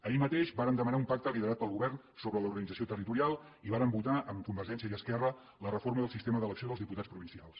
ahir mateix vàrem demanar un pacte liderat pel govern sobre l’organització territorial i vàrem votar amb convergència i esquerra la reforma del sistema d’elecció dels diputats provincials